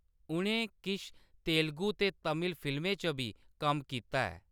उʼनें किश तेलुगु ते तमिल फ़िल्में च बी कम्म कीता ऐ।